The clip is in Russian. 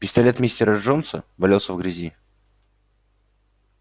пистолет мистера джонса валялся в грязи